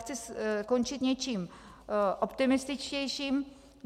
Chci skončit něčím optimističtějším.